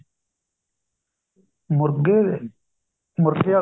ਮੁਰਗੇ ਦੇ ਮੁਰਗੇ ਆਲਾ